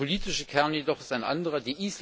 Der politische Kern jedoch ist ein anderer.